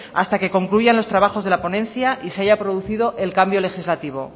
hasta que concluyan los trabajos de la ponencia y se haya producido el cambio legislativo